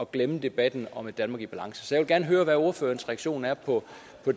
glemme debatten om et danmark i balance så jeg vil gerne høre hvad ordførerens reaktion er på